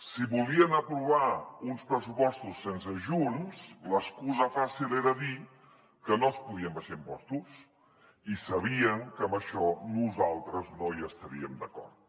si volien aprovar uns pressupostos sense junts l’excusa fàcil era dir que no es podien abaixar impostos i sabien que amb això nosaltres no hi estaríem d’acord